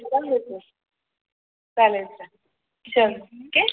चालेले चालेल चाल ओके